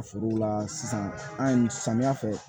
Forow la sisan an ye samiya fɛ